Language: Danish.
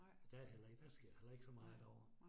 Og der heller ikke, der sker heller ikke så meget derovre